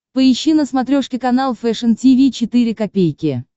поищи на смотрешке канал фэшн ти ви четыре ка